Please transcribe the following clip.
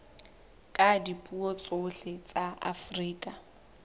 la dipuo tsohle tsa afrika